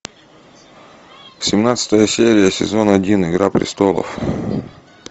семнадцатая серия сезон один игра престолов